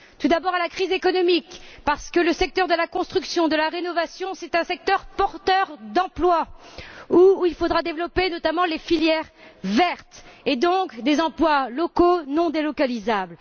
Tout d'abord contre la crise économique parce que le secteur de la construction et de la rénovation est un secteur porteur d'emplois, où il faudra développer notamment les filières vertes, et donc des emplois locaux non délocalisables.